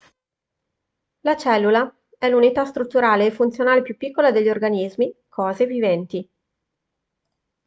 la cellula è l'unità strutturale e funzionale più piccola degli organismi cose viventi